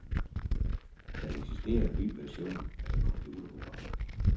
Der eksisterer en ny version af computerprogrammet.